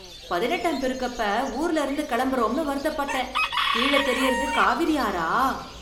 பதினெட்டாம் பெருக்கப்ப ஊர்ல இருந்து கெளம்பறோம்னு வருத்தப்பட்டேன், கீழ தெரியறது காவிரி ஆறா?